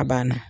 A banna